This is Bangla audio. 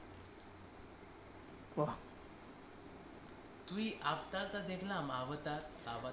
তুই আবতার টা দেখলাম আবতার আবতার